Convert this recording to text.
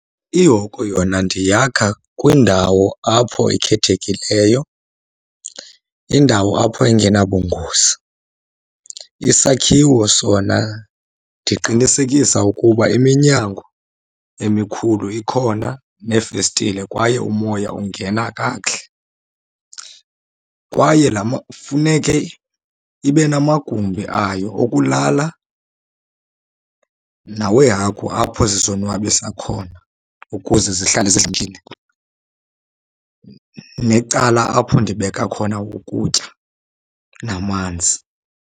Ihoko yona ndiyakha kwindawo apho ekhethekileyo, indawo apho engenabungozi. Isakhiwo sona ndiqinisekisa ukuba iminyango emikhulu ikhona neefestile kwaye umoya ungena kakuhle. Kwaye laa , funeke ibe namagumbi ayo okulala naweehagu apho zizonwabisa khona ukuze zihlale zidlamkile, necala apho ndibeka khona ukutya namanzi.